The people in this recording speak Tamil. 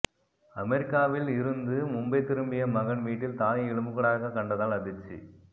அமெரிக்காவில் இருந்து மும்பை திரும்பிய மகன் வீட்டில் தாயை எலும்புக்கூடாக கண்டதால் அதிர்ச்சி